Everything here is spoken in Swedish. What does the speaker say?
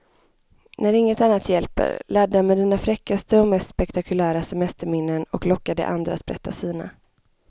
När inget annat hjälper, ladda med dina fräckaste och mest spektakulära semesterminnen och locka de andra att berätta sina.